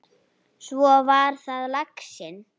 Svo var það laxinn!